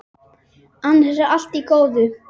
Annars er allt í góðu.